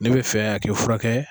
Ni be fɛ a k'i furakɛ